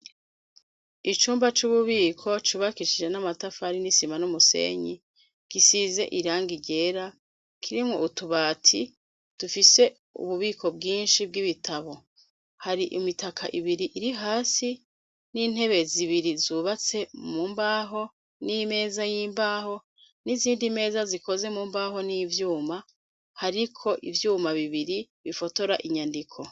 icumba c'ububiko cubakishije n'amatafari n'isima n'umusenyi gisize irani ryera kirimwo utubati dufise ububiko bwinshi bw'ibitabo hari imitaka ibiri iri hasi n'intebe zibiri zubatse mu mbaho n'imeza y'imbaho n'izindi meza zikoze mu mbaho nivyuma hariko ivyuma bibiri bifotora inyandiko